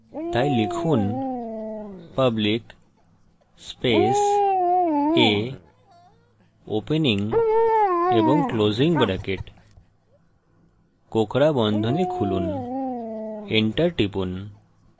তাই লিখুন public space a opening এবং ক্লোসিং ব্রেকেট কোঁকড়া বন্ধনী খুলুন enter টিপুন